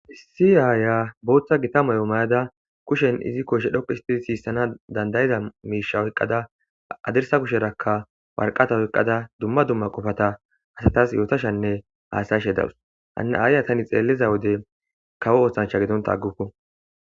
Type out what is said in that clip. Issi aaya booththa gita moyo mayada kushen izi koshe dhoqihistii siissana dandayida miisha oyqqada adersa kusherakka warqata oyqqada dumma dumma qofata asatas yootashanne aasayashe dawus hanna aaya tani xeelliza wode kawo oosancha gedonta agguko